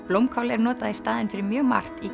blómkál er notað í staðinn fyrir mjög margt í